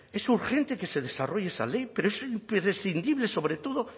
es urgente que se desarrolle esa ley pero es imprescindible sobre todo